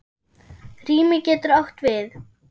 Rými getur átt við